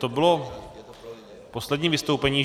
To bylo poslední vystoupení.